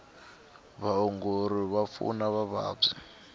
vaongori va pfuna vavabyi